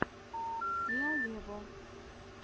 сиа вево